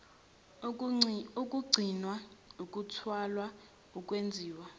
ukugcinwa ukuthwalwa ukwenziwa